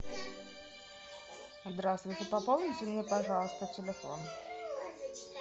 здравствуйте пополните мне пожалуйста телефон